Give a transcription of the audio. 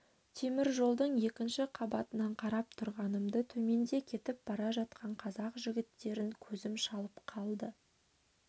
темір жолдың екінші қабатынан қарап тұрғанымда төменде кетіп бара жатқан қазақ жігіттерін көзім шалып қалды